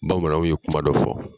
Bamananw ye kuma dɔ fɔ.